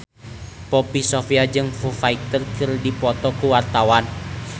Poppy Sovia jeung Foo Fighter keur dipoto ku wartawan